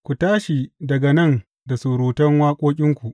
Ku tashi daga nan da surutan waƙoƙinku!